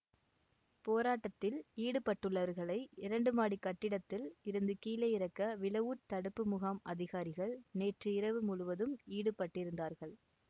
போராட்டத்தில் ஈடுபட்டுள்ளவர்களை இரண்டு மாடிக் கட்டடத்தில் இருந்து கீழே இறக்க விலவூட் தடுப்பு முகாம் அதிகாரிகள் நேற்றிரவு முழுவதும் ஈடுபட்டிருந்தார்கள்